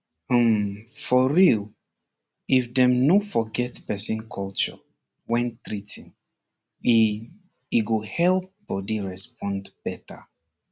um for real if dem no forget person culture when treating e e go help body respond better